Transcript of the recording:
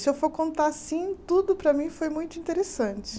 Se eu for contar assim, tudo para mim foi muito interessante.